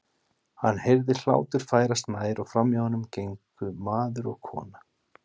Hann heyrði hlátur færast nær og framhjá honum gengu maður og kona.